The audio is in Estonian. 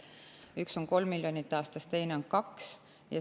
Üks on 3 miljonit aastas, teine on 2 miljonit.